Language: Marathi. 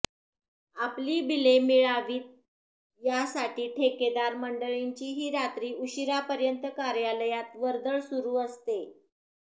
आपली बिले मिळावीत यासाठी ठेकेदार मंडळींचीही रात्री उशिरापर्यंत कार्यालयात वर्दळ सुरू असते